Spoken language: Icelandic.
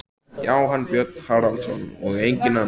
Já, hann, Björn Haraldsson, og enginn annar!